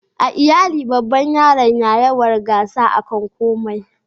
a iyali babba yaran na yawar gasa a kan komai